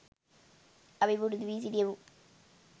අපි පුරුදු වී සිටියෙමු.